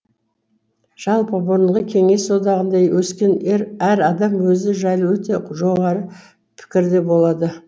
жалпы бұрынғы кеңес одағында өскен әр адам өзі жайлы өте жоғары пікірде болады